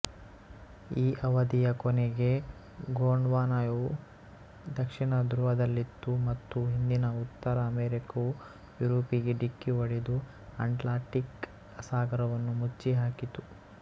ಈ ಅವಧಿಯ ಕೊನೆಗೆ ಗೊಂಡ್ವಾನವು ದಕ್ಷಿಣ ಧ್ರುವದಲ್ಲಿತ್ತು ಮತ್ತು ಹಿಂದಿನ ಉತ್ತರ ಅಮೆರಿಕವು ಯುರೋಪಿಗೆ ಡಿಕ್ಕಿಹೊಡೆದು ಅಟ್ಲಾಂಟಿಕ್ ಸಾಗರವನ್ನು ಮುಚ್ಚಿಹಾಕಿತು